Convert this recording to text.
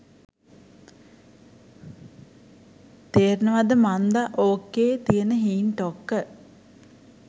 තේරෙනවද මන්ද ඕකේ තියන හීන් ටොක්ක.